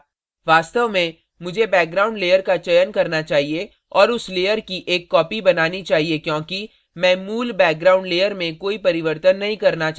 वास्तव में मुझे background layer का चयन करना चाहिए और उस layer की एक copy बनानी चाहिए क्योंकि मैं मूल background layer में कोई परिवर्तन नहीं करना चाहता choose